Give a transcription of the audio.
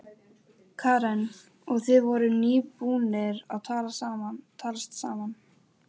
urinn, saup dreggjarnar úr bollanum og reis á fætur.